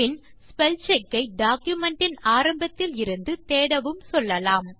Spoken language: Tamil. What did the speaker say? பின் ஸ்பெல்செக் ஐ டாக்குமென்ட் இன் ஆரம்பத்தில் இருந்து தேடவும் சொல்லலாம்